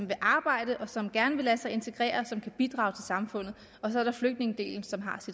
vil arbejde som gerne vil lade sig integrere og som kan bidrage til samfundet og så er der flygtningedelen som har